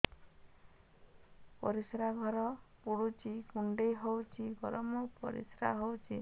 ପରିସ୍ରା ଘର ପୁଡୁଚି କୁଣ୍ଡେଇ ହଉଚି ଗରମ ପରିସ୍ରା ହଉଚି